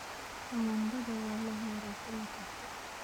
Tamaandhada waa la beeraa xilli kasta.